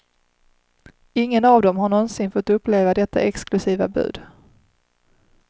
Ingen av dem har någonsin fått uppleva detta exklusiva bud.